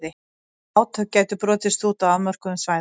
Átök gætu brotist út á afmörkuðum svæðum.